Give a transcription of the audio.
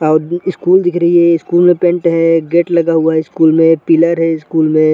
और स्कूल दिख रही है स्कूल में पेन्ट है गेट लगा हुआ है स्कूल में पिलर है स्कूल में --